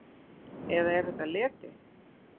Eða er þetta leti?